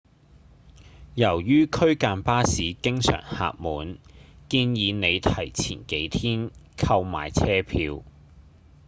由於區間巴士經常客滿建議您提前幾天購買車票